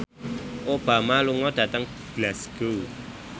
Obama lunga dhateng Glasgow